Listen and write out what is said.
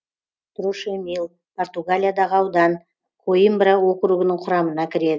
трошемил португалиядағы аудан коимбра округінің құрамына кіреді